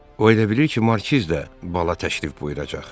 O elə bilir ki, markiz də bala təşrif buyuracaq.